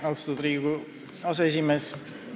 Austatud Riigikogu aseesimees!